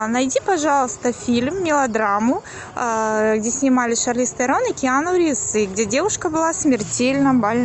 а найди пожалуйста фильм мелодраму где снимались шарлиз терон и киану ривз и где девушка была смертельно больна